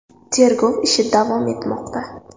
Tergov ishi davom etmoqda.